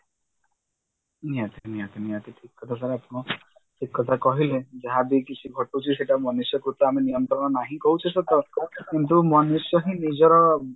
ନିହାତି ନିହାତି ନିହାତି ଠିକ କଥା କହିଲେ ଆପଣ ଠିକ କଥା କହିଲେ ଯାହାବି କିଛି ଘଟୁଛି ସେଟା ମନୁଷ୍ୟକୁ ତ ଆମେ ନିୟନ୍ତ୍ରଣ ନାହିଁ କହୁଛେ ସତ କିନ୍ତୁ ମନୁଷ୍ୟ ହିଁ ନିଜର